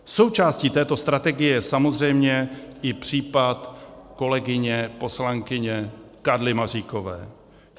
Součástí této strategie je samozřejmě i případ kolegyně poslankyně Karly Maříkové.